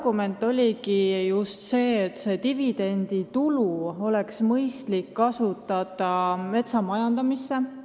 Argument ongi just see, et seda dividenditulu oleks mõistlik kasutada metsa majandamisel.